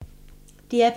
DR P2